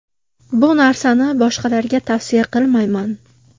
Bu narsani boshqalarga tavsiya qilmayman.